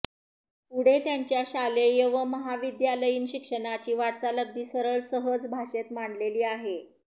पुढे त्यांच्या शालेय व महाविद्यालयीन शिक्षणाची वाटचाल अगदी सरळ सहज भाषेत मांडलेली आहे